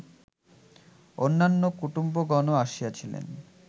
অন্যান্য কুটুম্বগণও আসিয়াছিলেন